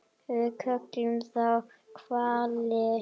Við köllum þá hvali.